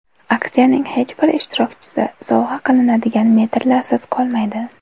Aksiyaning hech bir ishtirokchisi sovg‘a qilinadigan metrlarsiz qolmaydi.